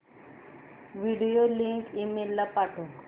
video link email ला पाठव